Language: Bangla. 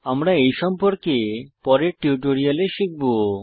আমরা এই সম্পর্কে পরের টিউটোরিয়ালে শিখব